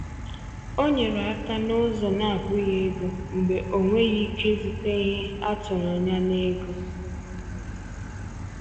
Ọ nyere aka n’ụzọ na-abụghị ego mgbe o nweghị ike izute ihe a tụrụ anya n’ego.